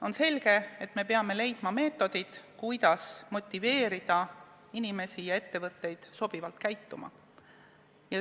On selge, et me peame leidma meetodid, kuidas motiveerida inimesi ja ettevõtteid sobivalt käituma.